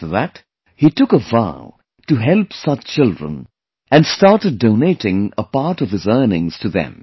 After that, he took a vow to help such children and started donating a part of his earnings to them